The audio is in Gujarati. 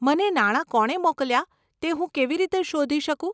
મને નાણા કોણે મોકલ્યાં તે હું કેવી રીતે શોધી શકું?